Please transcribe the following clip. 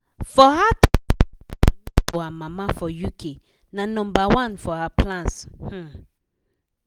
for her to send money to her mama for uk na nomba one for her plans. um